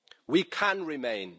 We can remain.